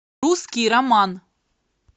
русский роман